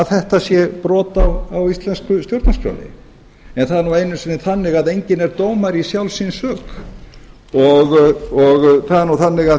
þetta sé brot á íslensku stjórnarskránni en það er nú einu sinni þannig að enginn er dómari í sjálfs sín sök það er nú þannig